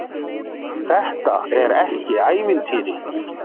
Þetta er ekki ævintýri.